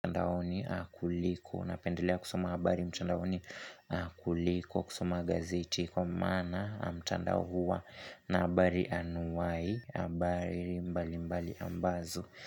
Mtandaoni kuliko, napendelea kusoma habari mchanda oni kuliko, kusoma gazeti kwa maana mtandao huwa na habari anuai, habari mbali mbali ambazo.